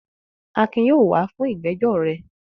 Akin yóò wà á fún ìgbẹ́jọ́ rẹ.